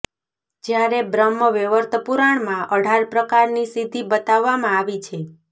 જ્યારે બ્રહ્મ વૈવર્તપુરાણમાં અઢાર પ્રકારની સિધ્ધિ બતાવામાં આવી છે